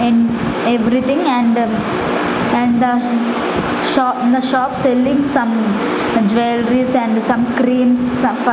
in everything and and the sho the shop selling some jewelries and some creams some f --